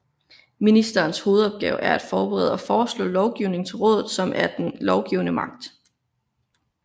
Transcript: Ministrenes hovedopgave er at forberede og foreslå lovgivning til rådet som er den lovgivende magt